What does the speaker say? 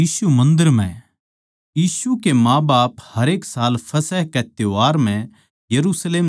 यीशु के माँबाप हरेक साल फसह कै त्यौहार म्ह यरुशलेम जाया करै थे